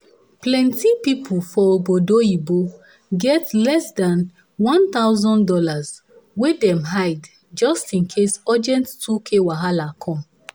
plenty people for ogbodo oyibo get less than one thousand dollars way dem hide just in case urgent 2k wahala come.